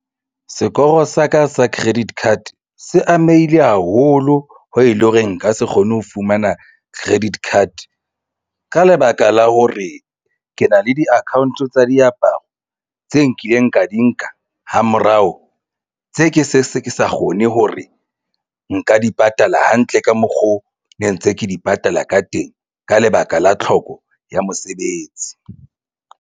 Sekoro sa ka sa credit card se amehile haholo ho e leng hore nka se kgone ho fumana credit card ka lebaka la hore ke na le di-account tsa diaparo tse nkileng ka di nka ha morao tse ke se ke sa kgone hore nka di patala hantle ka mokgo ne ntse ke di patala ka teng ka lebaka la tlhoko ya mosebetsi.